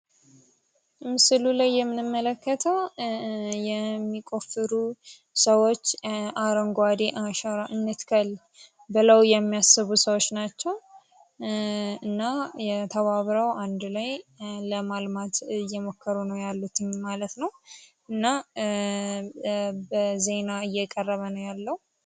ምስሉ ላይ የምንመለከተው የሚቆፍሩ ሰዎች አረንጓዴ አሻራ መትከል ብለው የሚያስቡ ሰዎች ናቸው። እና ተባብረው አንድ ላይ ለማልማት እየሞከሩ ነው ያሉት ማለት ነው። እና ዜና እየቀረበ ነው ያለው።